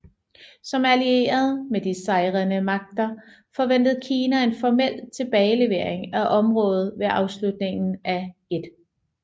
Som allieret med de sejrende magter forventede Kina en formel tilbagelevering af området ved afslutningen af 1